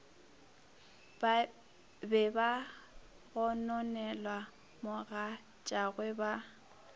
be ba gononela mogatšagwe ba